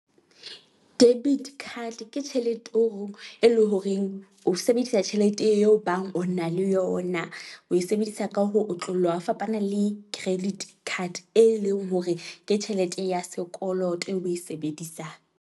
Debit card ke tjhelete e leng horeng o sebedisa tjhelete eo e bang o na le yona. O e sebedisa ka ho otloloha ho fapana le credit card, e leng hore ke tjhelete ya sekoloto e o o e sebedisang.